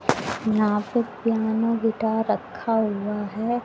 यहां पे piano guitar रखा हुआ है।